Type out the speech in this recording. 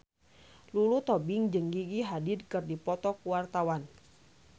Lulu Tobing jeung Gigi Hadid keur dipoto ku wartawan